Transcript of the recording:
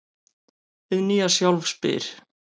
Hið nýja sjálf spyr: